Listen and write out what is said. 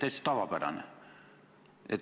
Täitsa tavapärane.